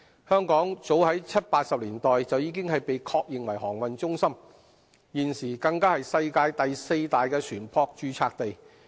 香港早於七八十年代已被確認為航運中心，現時更是世界第四大船舶註冊地。